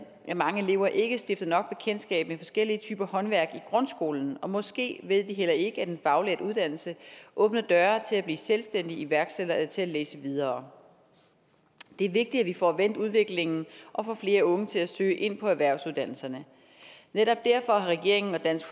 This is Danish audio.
at mange elever ikke stifter nok bekendtskab med forskellige typer håndværk i grundskolen og måske ved de heller ikke at en faglært uddannelse åbner døre til at blive selvstændig iværksætter eller til at læse videre det er vigtigt at vi får vendt udviklingen og får flere unge til at søge ind på erhvervsuddannelserne netop derfor har regeringen og dansk